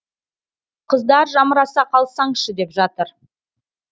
қыздар жамыраса қалсаңшы деп жатыр